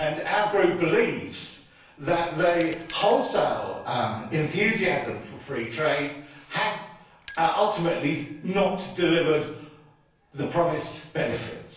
Our Group believes that the wholesale enthusiasm for free trade has ultimately not delivered the promised benefits.